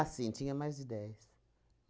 Ah, sim, tinha mais de dez.